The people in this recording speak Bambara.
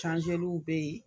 bɛ yen